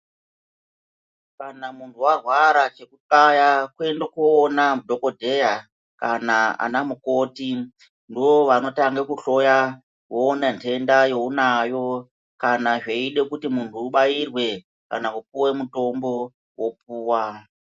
Kana munhu warwara chekuxaya kuende koona dhokodheya kana mukoti ndoovanotange kuhloya voona ndenda younayo. Kana zveide kuti munhu ubairwe kana kupuwe mutombo, wopuwa.